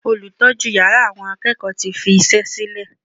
Olùtọ́jú yàrá àwọn akẹ́kọ̀ọ́ tí fi iṣẹ́ sílè.